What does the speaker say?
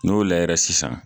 N'o layɛra sisan